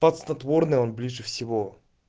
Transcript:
под снотворное он ближе всего